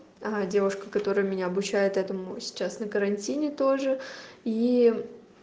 девушка которая меня обучает этому сейчас на карантине тоже и